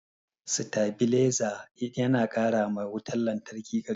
Satabiliza na karama wutan lantraki karfi